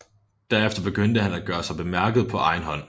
Derefter begyndte han at gøre sig bemærket på egen hånd